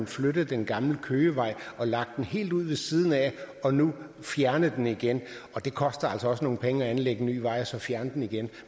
flyttet den gamle køgevej og lagt den helt ud ved siden af og nu har fjernet den igen og det koster altså nogle penge at anlægge en ny vej og så fjerne den igen